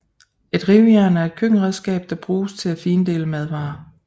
Et rivejern er et køkkenredskab der bruges til at findele madvarer